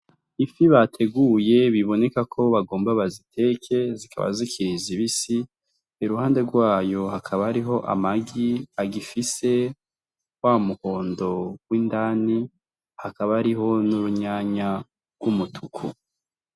Ifi bateguye biboneka ko bagomba baziteke zikaba zikiriza ibisi i ruhande rwayo hakaba ariho amagi agifise wa mugondo w'indani hakaba ariho n'urunyanya rw'umutuku.